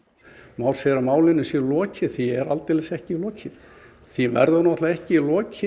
Már segir að málinu sé lokið því er aldeilis ekki lokið því verður náttúrulega ekki lokið